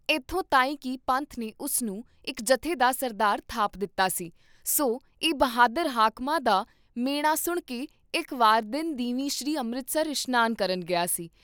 ਐਥੋਂ ਤਾਂਈਂ ਕੀ ਪੰਥ ਨੇ ਉਸ ਨੂੰ ਇਕ ਜਥੇ ਦਾ ਸਰਦਾਰ ਥਾਪ ਦਿੱਤਾ ਸੀ, ਸੋ ਇਹ ਬਹਾਦਰ ਹਾਕਮਾਂ ਦਾ ਮਿਹਣਾ ਸੁਣਕੇ ਇਕ ਵਾਰ ਦਿਨ ਦੀਵੀਂ ਸ੍ਰੀ ਅੰਮ੍ਰਿਤਸਰ ਇਸ਼ਨਾਨ ਕਰਨ ਗਿਆ ਸੀ